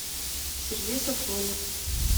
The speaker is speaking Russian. сергей сафонов